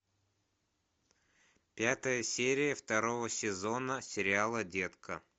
пятая серия второго сезона сериала детка